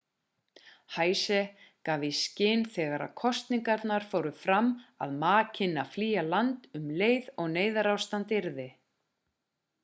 hsieh gaf í skyn þegar kosningarnar fóru fram að ma kynni að flýja land um leið og neyðarástand yrði